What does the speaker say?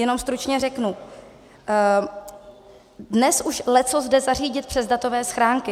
Jenom stručně řeknu, dnes už leccos jde zařídit přes datové schránky.